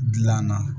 Dilanna